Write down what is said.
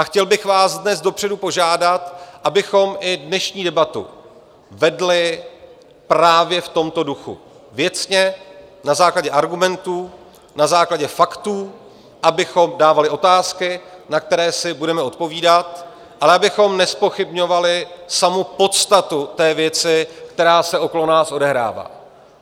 A chtěl bych vás dnes dopředu požádat, abychom i dnešní debatu vedli právě v tomto duchu, věcně, na základě argumentů, na základě faktů, abychom dávali otázky, na které si budeme odpovídat, ale abychom nezpochybňovali samu podstatu té věci, která se okolo nás odehrává.